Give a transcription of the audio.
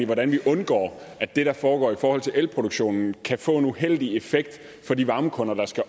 hvordan vi undgår at det der foregår i forhold til elproduktionen kan få en uheldig effekt for de varmekunder der skal